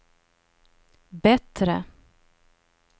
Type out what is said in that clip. bättre